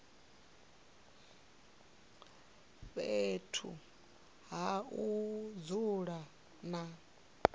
fhethu ha u dzula na